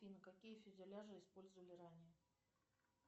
афина какие фюзеляжи использовали ранее